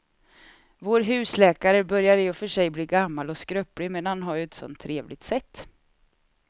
Vår husläkare börjar i och för sig bli gammal och skröplig, men han har ju ett sådant trevligt sätt!